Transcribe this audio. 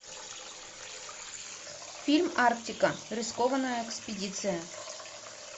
фильм арктика рискованная экспедиция